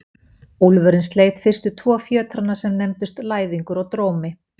Úlfurinn sleit fyrstu tvo fjötrana sem nefndust Læðingur og Drómi.